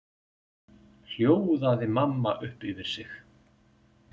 hljóðaði mamma upp yfir sig.